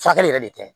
Furakɛli yɛrɛ de ka ɲi